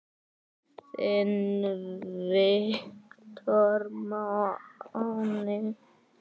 Þinn Viktor Máni.